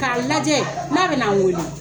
K'a lajɛ, n'a bɛna n wele.